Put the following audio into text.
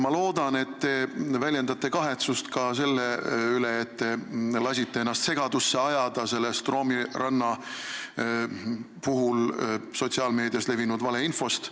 Ma loodan, et te väljendate kahetsust ka selle üle, et te lasite ennast segadusse ajada selle Stroomi ranna juhtumi kohta sotsiaalmeedias levinud valeinfost.